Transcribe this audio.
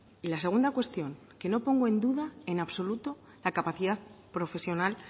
y la segunda cuestión que no pongo en duda en absoluto la capacidad profesional